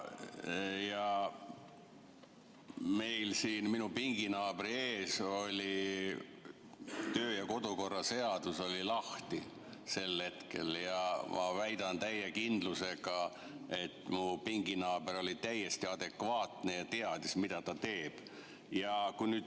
Minu pinginaabril oli kodu‑ ja töökorra seadus sel hetkel lahti ja ma väidan täie kindlusega, et mu pinginaaber oli täiesti adekvaatne ja teadis, mida ta teeb.